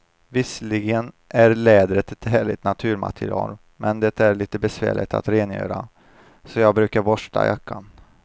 Visserligen är läder ett härligt naturmaterial, men det är lite besvärligt att rengöra, så jag brukar borsta jackan.